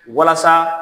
Walasa